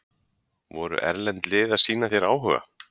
Voru erlend lið að sýna þér áhuga?